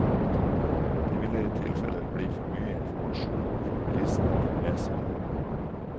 Det ville i tilfelle bli for mye informasjon for bilistene å få med seg.